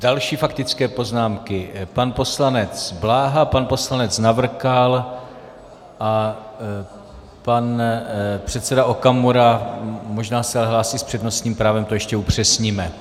Další faktické poznámky - pan poslanec Bláha, pan poslanec Navrkal a pan předseda Okamura, možná se hlásí s přednostním právem, to ještě upřesníme.